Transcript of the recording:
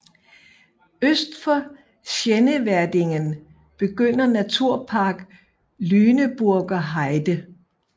Øst for Schneverdingen begynder Naturpark Lüneburger Heide